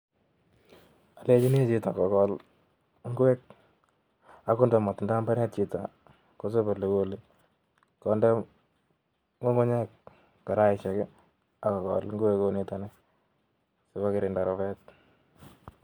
Olenyini chito kogol ingwek, akondo mootinye mbaret chito, kogole kokonde ngungunyek karaisiek ak kogol ingwek kounitok nii